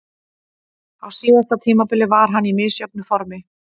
Á síðasta tímabili var hann í misjöfnu formi.